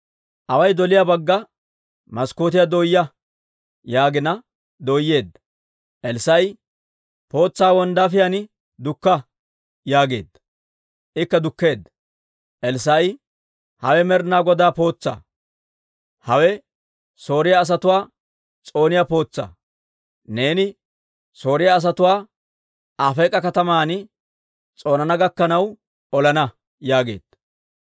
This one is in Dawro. «Away doliyaa bagga maskkootiyaa dooyaa» yaagina dooyeedda. Elssaa'i, «Pootsaa wonddaafiyaan dukka» yaageedda; ikka dukkeedda. Elssaa'i, «Hawe Med'ina Godaa pootsaa! Hawe Sooriyaa asatuwaa s'ooniyaa pootsaa! Neeni Sooriyaa asatuwaa Afeek'a kataman s'oonana gakkanaw olana» yaageedda.